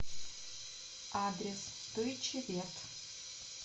адрес дойче вет